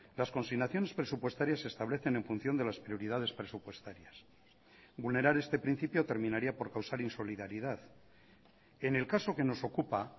las consignaciones presupuestarias se establecen en función de las prioridades presupuestarias vulnerar este principio terminaría por causar insolidaridad en el caso que nos ocupa